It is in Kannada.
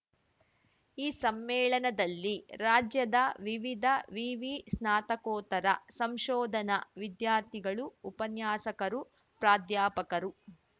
ಈ ಸಮ್ಮೇಳನದಲ್ಲಿ ರಾಜ್ಯದ ವಿವಿಧ ವಿವಿ ಸ್ನಾತಕೋತ್ತರ ಸಂಶೋಧನಾ ವಿದ್ಯಾರ್ಥಿಗಳುಉಪನ್ಯಾಸಕರುಪ್ರಾಧ್ಯಾಪಕರು